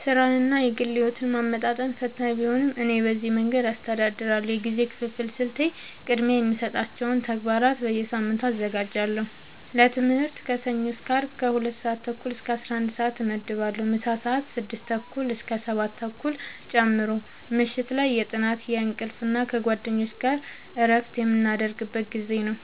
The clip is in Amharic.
ሥራንና የግል ሕይወትን ማመጣጠን ፈታኝ ቢሆንም፣ እኔ በዚህ መንገድ አስተዳድራለሁ፦ የጊዜ ክፍፍል ስልቴ፦ · ቅድሚያ የሚሰጣቸውን ተግባራት በየሳምንቱ አዘጋጃለሁ · ለትምህርት ከሰኞ እስከ አርብ ከ 2:30-11:30 እመድባለሁ (ምሳ ሰአት 6:30-7:30 ጨምሮ) · ምሽት ላይ የጥናት፣ የእንቅልፍ እና ከጓደኞች ጋር እረፍት የምናደርግበት ጊዜ ነው። ·